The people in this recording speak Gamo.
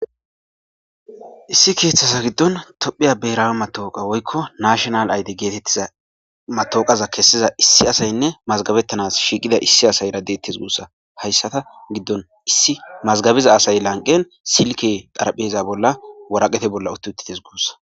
issi keeththasa giddon tophiya beera matooqa woykko nashonal ayde geetettiza matooqaza kessiza issi asaynne mazgabettanas shiiqida issi asay radettes guussa hayssata giddon issi mazgabiza asay lanqen silke dharpheza bolla waraqete bolla utti utites guussa